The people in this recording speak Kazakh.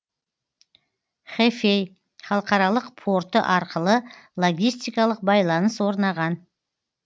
хэфэй халықаралық порты арқылы логистикалық байланыс орнаған